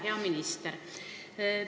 Hea minister!